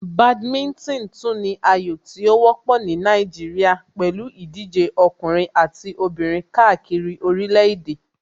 Badminton tún ní ayò tí ó wọ́pọ̀ ní Nàìjíríà pẹ̀lú ìdíje ọkùnrin àti obìnrin káàkiri orílẹ̀ èdè.